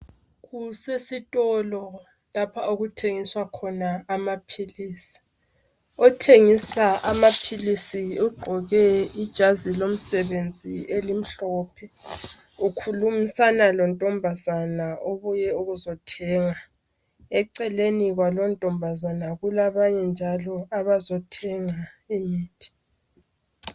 Kusesitolo lapha okuthengiswa khona amapilisi. Othengisa amapilisi ugqoke ijazi lomsebenzi elimhlophe ukhulumisana lontombazana obuye ukuzothenga. Eceleni kwalontombazana ku labanye njalo abazothenga imithi.